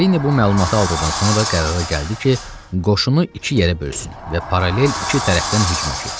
Varini bu məlumatı aldıqdan sonra qərara gəldi ki, qoşunu iki yerə bölsün və paralel iki tərəfdən hücuma keçsin.